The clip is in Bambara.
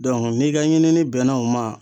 n'i ka ɲinini bɛnna o ma